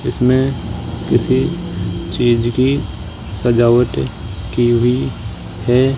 इसमें किसी चीज की सजावटे की हुई है।